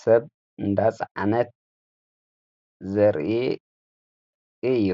ሰብ እንዳጽ ዓነት ዘርኢ እዩ።